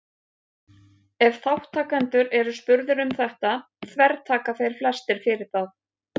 ef þátttakendur eru spurðir um þetta þvertaka þeir flestir fyrir það